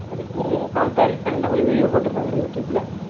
அதுக்கும் comparison ல ஒரு video போட்டிருந்தாங்க யூடுபேல